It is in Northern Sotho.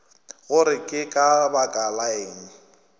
gore ke ka baka lang